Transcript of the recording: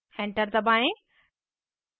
enter दबाएँ